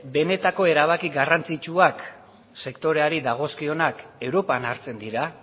benetako erabaki garrantzitsuak sektoreari dagozkionak europan hartzen dira